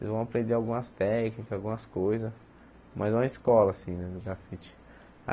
vocês vão aprender algumas técnicas, algumas coisas, mas é uma escola assim, né, no grafite.